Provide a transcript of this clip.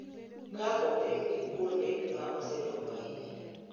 Ka opim gi kuonde ma osedongo ahinya.